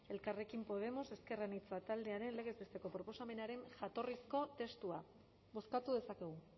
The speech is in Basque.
elkarrekin podemos ezker anitza taldearen legez besteko proposamenaren jatorrizko testua bozkatu dezakegu